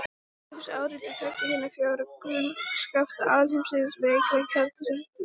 Þær svara einungis áreiti tveggja hinna fjögurra grunnkrafta alheimsins: Veika kjarnakraftsins og þyngdarkraftsins.